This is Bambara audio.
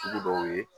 Sugu dɔw ye